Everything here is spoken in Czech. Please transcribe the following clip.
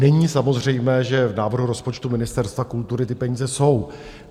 Není samozřejmé, že v návrhu rozpočtu Ministerstva kultury ty peníze jsou.